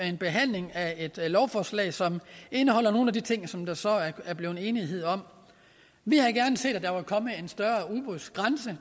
en behandling af et lovforslag som indeholder nogle af de ting som der så er blevet enighed om vi havde gerne set at der var kommet en større udbudsgrænse